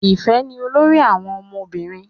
Ifẹ ni olórí àwọn ọmọbìnrin.